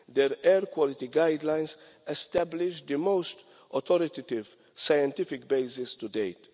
Their air quality guidelines establish the most authoritative, scientific basis to date.